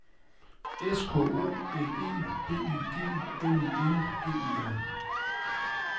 S K O L E B Y G N I N G E R